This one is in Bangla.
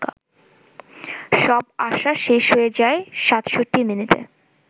সব আশা শেষ হয়ে যায় ৬৭ মিনিটে